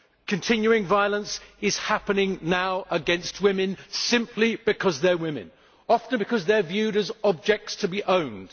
Continuing violence is happening now against women simply because they are women often because they are viewed as objects to be owned.